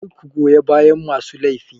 Kar ku goya bayan masu laifi.